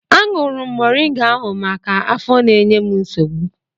Aṅụrụ m moringa ahụ maka afọ na-enye m nsogbu.